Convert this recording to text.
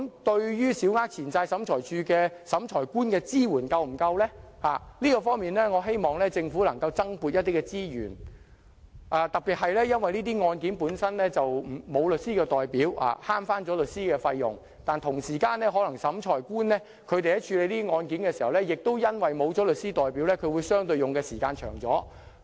對於小額錢債審裁處審裁官的支援是否足夠，我希望政府能就這方面增撥資源。特別是這些案件中，申索人並無律師代表，以省掉律師費用，但審裁官在處理這些案件時，同時可能因為沒有律師代表，便會用相對較長的時間。